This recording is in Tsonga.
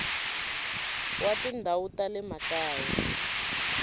wa tindhawu ta le makaya